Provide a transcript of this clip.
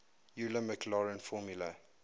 euler maclaurin formula